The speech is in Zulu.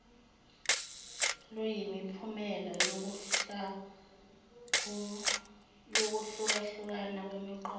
luyimiphumela yokuhlukahlukana kwemiqondo